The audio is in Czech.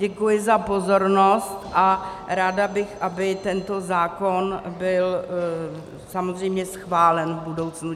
Děkuji za pozornost a ráda bych, aby tento zákon byl samozřejmě schválen v budoucnu.